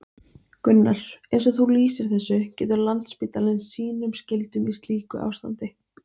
Gunnar: Eins og þú lýsir þessu, getur Landspítalinn sínum skyldum í slíku ástandi?